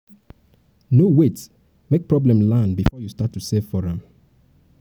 um no wait make no wait make problem land before you start to save for am.